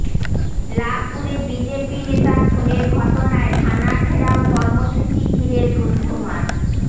লাভপুরে BJP নেতা খুনের ঘটনায় থানা ঘেরাও কর্মসূচি ঘিরে ধুন্ধুমার